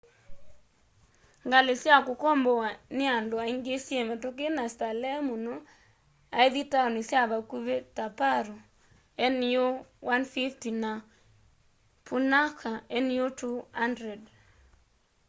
ngali sya kukombowa ni andũ aingi syi mituki na stalehe mundu aithi taoni sya vakũvi ta paru nu 150 na punakha nu 200